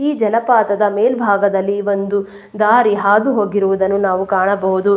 ಈ ಜಲಪಾತದ ಮೇಲ್ಭಾಗದಲ್ಲಿ ಒಂದು ದಾರಿ ಹಾದು ಹೋಗಿರುವುದನ್ನು ನಾವು ಕಾಣಬಹುದು.